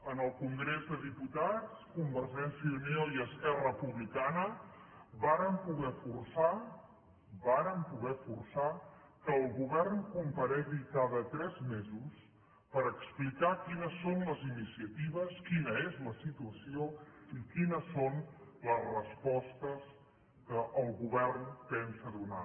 en el congrés dels diputats convergència i unió i esquerra republicana vàrem poder forçar vàrem poder forçar que el govern comparegui cada tres mesos per explicar quines són les iniciatives quina és la situació i quines són les respostes que el govern pensa donar